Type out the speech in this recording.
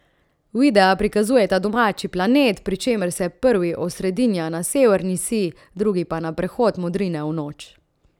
Videa prikazujeta domači planet, pri čemer se prvi osredinja na severni sij, drugi pa na prehod modrine v noč.